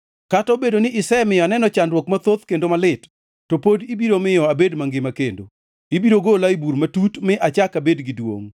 Kata obedo ni isemiyo aneno chandruok mathoth kendo malit, to pod ibiro miyo abed mangima kendo. Ibiro gola e bur matut mi achak abed gi duongʼ.